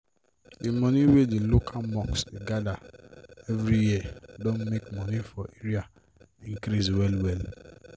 d moni wey d local mosque dey gather every year don make moni for area work increase well well.